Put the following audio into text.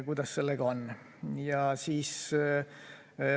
Kuidas sellega lood on?